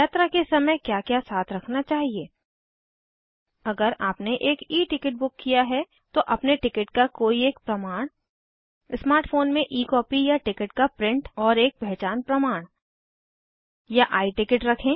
यात्रा के समय क्या क्या साथ रखना चाहिए अगर आपने एक E टिकट बुक किया है तो अपने टिकट का कोई एक प्रमाण स्मार्ट फ़ोन में E कॉपी या टिकट का प्रिंट और एक पहचान प्रमाण या I टिकट रखें